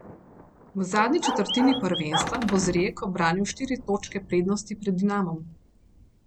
V zadnji četrtini prvenstva bo z Rijeko branil štiri točke prednosti pred Dinamom.